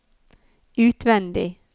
utvendig